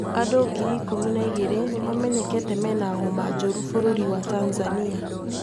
andũ ngiri ikũmi na igĩrĩ nĩmamenyekete mena homa njũrĩ bũrũri wa tanzania